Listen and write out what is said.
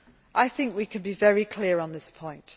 I think we can be very clear on this point.